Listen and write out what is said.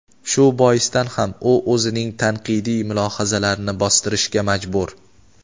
shu boisdan ham u o‘zining tanqidiy mulohazalarini bostirishga majbur.